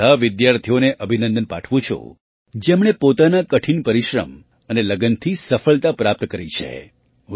હું એ બધા વિદ્યાર્થીઓને અભિનંદન પાઠવું છું જેમણે પોતાના કઠિન પરિશ્રમ અને લગનથી સફળતા પ્રાપ્ત કરી છે